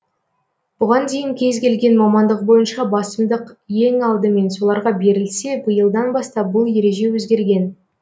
бұған дейін кез келген мамандық бойынша басымдық ең алдымен соларға берілсе биылдан бастап бұл ереже өзгерген